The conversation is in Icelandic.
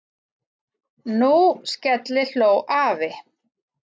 Nú skellihló afi.